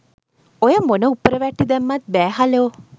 ඔය මොන උප්පර වැට්ටි දැම්මත් බෑ හලෝ